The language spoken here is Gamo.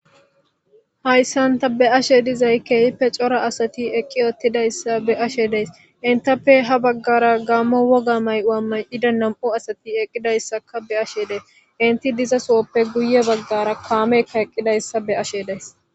hayssanta be ashe dizay keehippe cora asati eqqi ottidayssa be ashe dees intappe ha baggara gammo woga may7ua may7ida nam7u asati eqqidayssaka be ashe dees inti diza sohoppe guye baggara kaamekka eqqidayssa be ashe deys